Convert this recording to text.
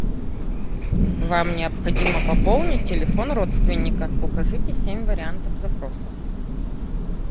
вам необходимо пополнить телефон родственника укажите семь вариантов запроса